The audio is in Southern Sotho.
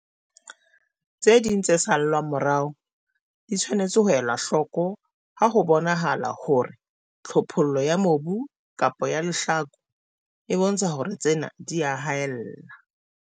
Tse ding tse salwang morao di tshwanetse ho elwa hloko ha ho bonahala hore tlhophollo ya mobu kapa ya lehlaku e bontsha hore tsena di a haella.